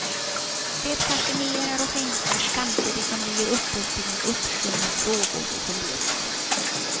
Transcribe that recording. De fascinerar och fängslar, samtidigt som de ger upphov till en uppsjö med frågor och funderingar.